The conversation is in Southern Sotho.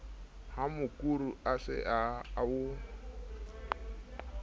ha mokuru o se o